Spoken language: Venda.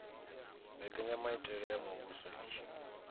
mbekanyamaitele ya muvhuso i tshi